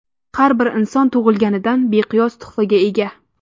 Har bir inson tug‘ilganidan beqiyos tuhfaga ega.